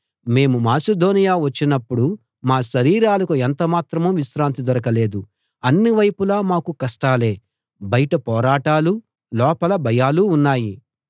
మేము మాసిదోనియ వచ్చినప్పుడు మా శరీరాలకు ఎంత మాత్రం విశ్రాంతి దొరకలేదు అన్నివైపులా మాకు కష్టాలే బయట పోరాటాలు లోపల భయాలు ఉన్నాయి